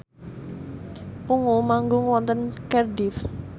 Ungu manggung wonten Cardiff